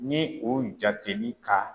Ni o jateli ka